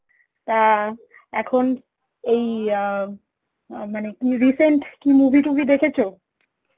তা এখন এই আ মানে recent কি movie টুভি দেখেছো?